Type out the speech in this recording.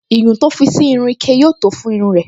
Iyùn to fi sí inú ike yóò tó fún irun rẹ̀